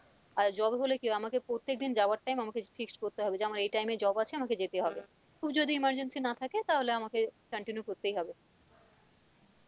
আর job হবে আমাকে প্রত্যেক দিন যাবার time আমাকে fixed করতে হবে যে আমার এই time এ job আছে আমাকে যেতে হবে খুব যদি emergency না থাকে তাহলে আমাকে continue করতেই হবে